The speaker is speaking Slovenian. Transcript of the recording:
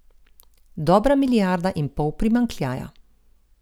Dobra milijarda in pol primanjkljaja.